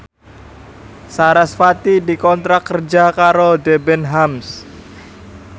sarasvati dikontrak kerja karo Debenhams